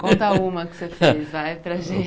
Conta uma que você fez, vai, para a gente.